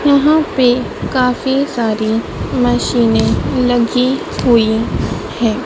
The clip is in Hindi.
यहां पे काफी सारी मशीने लगी हुई है।